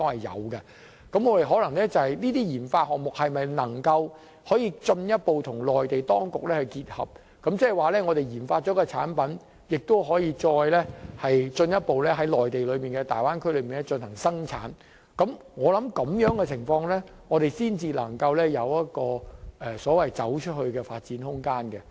而這些研發項目若能進一步與內地條件結合，即我們研發了一個產品，可以再進一步在內地大灣區進行生產，我相信我們要在這種情況下才能有"走出去"的發展空間。